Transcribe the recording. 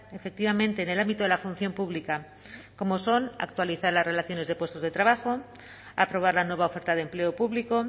efectivamente en el ámbito de la función pública como son actualizar las relaciones de puestos de trabajo aprobar la nueva oferta de empleo público